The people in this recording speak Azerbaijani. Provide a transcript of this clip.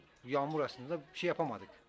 Yağış əslində bir şey edə bilmədik.